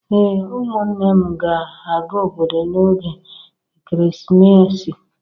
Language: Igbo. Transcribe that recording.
Ee, ụmụnne m ga-aga obodo n'oge ekeresimesi